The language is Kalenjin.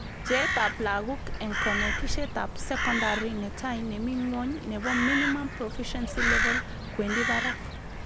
Bjeetab laguk eng konetishetab sokondari netai nemi nywong nebo Minimum Proficiency Level kwendi barak